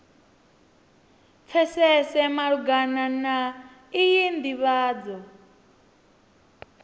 pfesese malugana na iyi nḓivhadzo